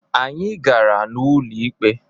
Anyị gara n'ụlọikpe.